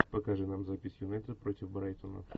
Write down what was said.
покажи нам запись юнайтед против брайтона